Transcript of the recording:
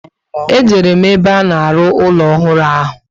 E jere m ebe a na-aru ụlọ ọhụrụ ahụ